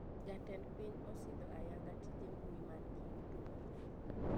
Jatend piny osidho ayanga tije mbui mangi yuto mathoth